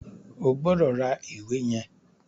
O gbọdọ̀ ra ìwé yẹn.